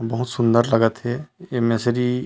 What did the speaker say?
बहुत सुन्दर लगत हे एमेसरी--